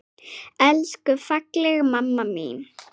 Elsku fallega mamma mín.